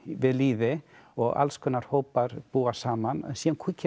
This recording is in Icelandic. við lýði og alls konar hópar búa saman síðan kemur